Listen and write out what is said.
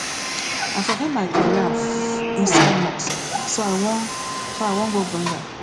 i forget my quran inside mosque so i wan so i wan go bring am